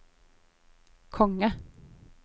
konge